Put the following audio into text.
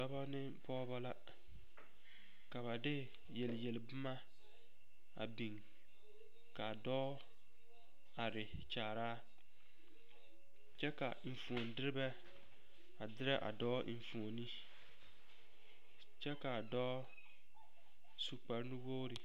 Dɔba ne pɔgeba la ka ba de yelyelboma a biŋ k,a dɔɔ are kyaaraa kyɛ ka enfuonderebɛ a derɛ a dɔɔ enfuoni kyɛ k,a dɔɔ su kparenuwogri.